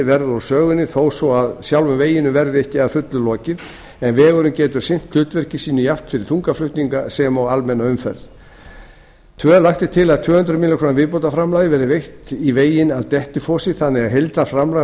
verða úr sögunni þó svo að sjálfum veginum verði ekki að fullu lokið en vegurinn getur sinnt hlutverki sínu jafnt fyrir þungaflutninga sem og almenna umferð annars lagt er til að tvö hundruð milljóna króna viðbótarframlag verði veitt í veginn að dettifossi þannig að heildarframlag á